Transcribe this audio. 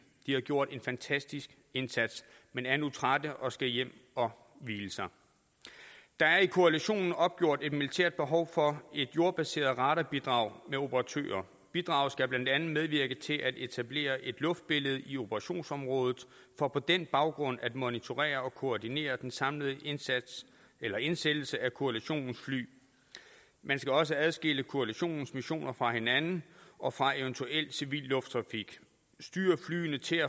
de har gjort en fantastisk indsats men er nu trætte og skal hjem og hvile sig der er i koalitionen opgjort et militært behov for et jordbaseret radarbidrag med operatører bidraget skal blandt andet medvirke til at etablere et luftbillede i operationsområdet for på den baggrund at monitorere og koordinere den samlede indsats eller indsættelse af koalitionens fly man skal også adskille koalitionens missioner fra hinanden og fra eventuel civil lufttrafik styre flyene til